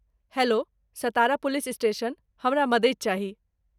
hello, Satara police station, हमरा मदति चाही